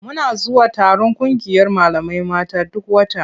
Muna zuwa taron ƙungiyar malamai mata duk wata.